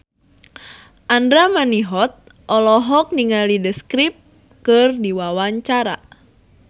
Andra Manihot olohok ningali The Script keur diwawancara